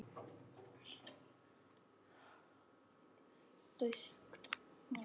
Þau eiga mikinn heiður skilið.